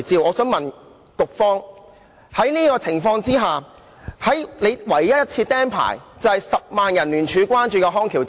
我想問局方，在這種情況之下，局方唯一一次"釘牌"的院舍就是10萬人聯署關注的康橋之家。